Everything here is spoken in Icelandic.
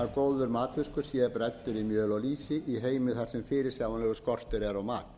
að góður matfiskur sé bræddur í mjöl og lýsi í heimi þar sem fyrirsjáanlegur skortur er á mat